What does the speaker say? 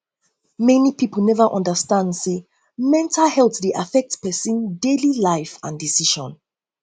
many pipo neva undastand say mental health dey affect pesin daily life and decision